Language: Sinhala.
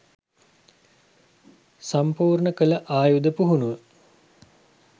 සම්පූර්ණ කළ ආයුධ පුහුණුව